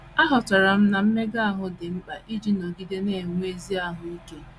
“ Aghọtara m na mmega ahụ dị mkpa iji nọgide na - enwe ezi ahụ ike.